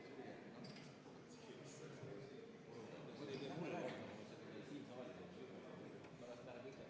Juhtivkomisjoni ettepanek on viia läbi eelnõu 398 lõpphääletus.